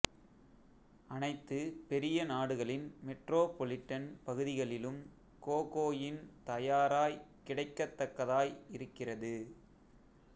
அனைத்து பெரிய நாடுகளின் மெட்ரோபொலிட்டன் பகுதிகளிலும் கோகோயின் தயாராய் கிடைக்கத்தக்கதாய் இருக்கிறது